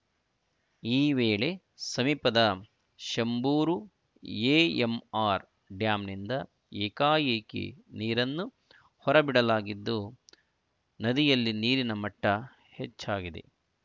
ಈ ವೇಳೆ ಸಮೀಪದ ಶಂಭೂರು ಎಎಂಆರ್‌ ಡ್ಯಾಂನಿಂದ ಏಕಾಏಕಿ ನೀರನ್ನು ಹೊರಬಿಡಲಾಗಿದ್ದು ನದಿಯಲ್ಲಿ ನೀರಿನ ಮಟ್ಟಹೆಚ್ಚಾಗಿದೆ